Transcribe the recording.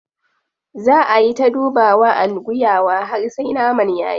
Zaa ayi ta dubawa and guyawa har sai naman yayi.